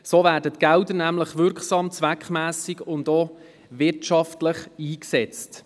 So werden die Gelder nämlich wirksam, zweckmässig und auch wirtschaftlich eingesetzt.